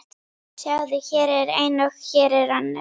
Sjáðu, hér er ein og hér er önnur.